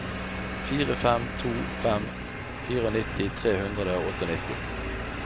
fire fem to fem nittifire tre hundre og nittiåtte